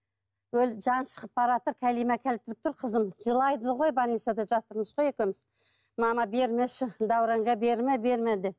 жаны шығып бараатыр кәлима келтіріп тұр қызым жылайды ғой больницада жатырмыз ғой екеуміз мама бермеші дәуренге берме берме деп